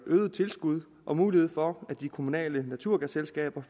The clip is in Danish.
øget tilskud og mulighed for at de kommunale naturgasselskaber